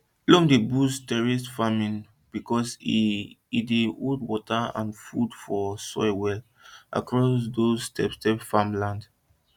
loam dey boost terraced farming because e e dey hold water and food for soil well across those stepstep farmland